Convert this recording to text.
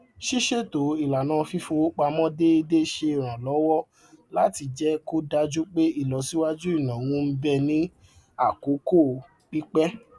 ṣíṣètò ìlànà fífọwó pamọ déédé ṣe ràn lówọ láti jẹ kó dájú pé ìlọsíwájú ináwó ń bẹ ní àkókò pípẹ